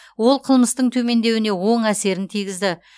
ол қылмыстың төмендеуіне оң әсерін тигізді